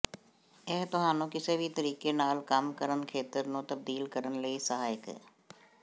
ਇਹ ਤੁਹਾਨੂੰ ਕਿਸੇ ਵੀ ਤਰੀਕੇ ਨਾਲ ਕੰਮ ਕਰ ਖੇਤਰ ਨੂੰ ਤਬਦੀਲ ਕਰਨ ਲਈ ਸਹਾਇਕ ਹੈ